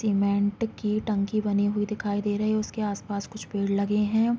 Cement की टंकी बनी हुई दिखाई दे रही उसके आसपास कुछ पेड़ लगे हैं।